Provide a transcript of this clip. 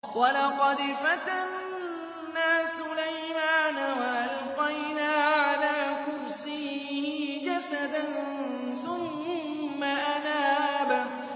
وَلَقَدْ فَتَنَّا سُلَيْمَانَ وَأَلْقَيْنَا عَلَىٰ كُرْسِيِّهِ جَسَدًا ثُمَّ أَنَابَ